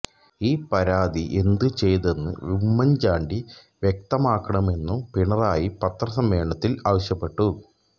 ഈ പരാതി എന്തു ചെയ്തെന്ന് ഉമ്മന്ചാണ്ടി വ്യക്തമാക്കണമെന്നും പിണറായി പത്രസമ്മേളനത്തില് ആവശ്യപ്പെട്ടു